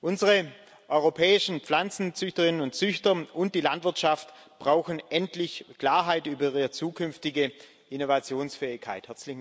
Unsere europäischen Pflanzenzüchterinnen und züchter und die Landwirtschaft brauchen endlich Klarheit über ihre zukünftige Innovationsfähigkeit.